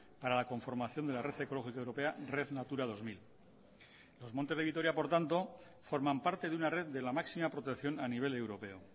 para la conformación de la red ecológica europea red natura dos mil los montes de vitoria por tanto forman parte de una red de la máxima protección a nivel europeo